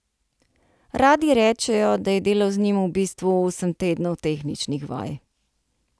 Radi rečejo, da je delo z njim v bistvu osem tednov tehničnih vaj.